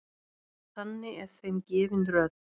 Þannig er þeim gefin rödd.